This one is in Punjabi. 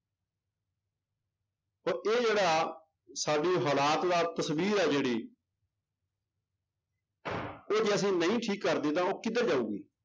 ਤਾਂ ਇਹ ਜਿਹੜਾ ਸਾਡੇ ਹਾਲਾਤ ਦਾ ਤਸ਼ਵੀਰ ਹੈ ਜਿਹੜੀ ਉਹ ਜੇ ਅਸੀਂ ਨਹੀਂ ਠੀਕ ਕਰਦੇ ਤਾਂ ਉਹ ਕਿੱਧਰ ਜਾਊਗੀ।